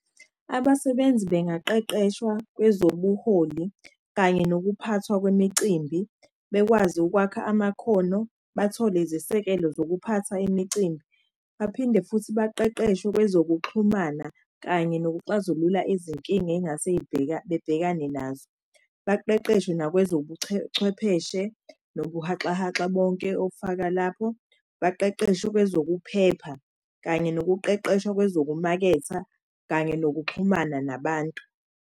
Abasebenzi bengaqeqeshwa kwezobuholi kanye nokuphathwa kwemicimbi. Bekwazi ukwakha amakhono, bathole izesekelo zokuphatha imicimbi. Baphinde futhi baqeqeshwe kwezokuxhumana kanye nokuxazulula izinkinga engase bebhekane nazo. Baqeqeshwe nobuhaxahaxa bonke obufaka lapho, baqeqeshwe kwezokuphepha. Kanye nokuqeqeshwa kwezokumaketha kanye nokuxhumana nabantu.